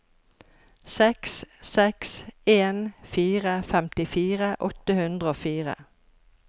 seks seks en fire femtifire åtte hundre og fire